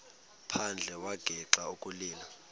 phandle wagixa ukulila